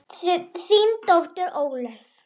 Þín dóttir, Ólöf.